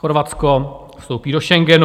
Chorvatsko vstoupí do Schengenu.